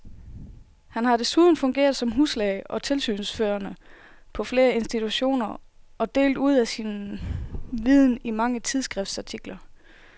Han har desuden fungeret som huslæge og tilsynsførende på flere institutioner og delt ud af sin viden i mange tidsskriftsartikler.